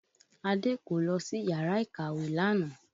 Ade kò lọ sí yàrá ìkàwé lánàá